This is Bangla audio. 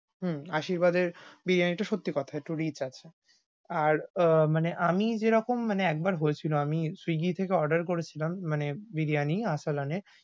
হম আশীর্বাদ এর বিরিয়ানি টা সত্যি কথা একটু rich আছে। আর আহ মানে আমি যেরকম মানে একবার হয়েছিল, আমি swiggy থেকে order করেছিলাম মানে বিরিয়ানি আরসালানে।